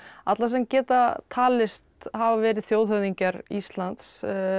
alla sem geta talist hafa verið þjóðhöfðingjar Íslands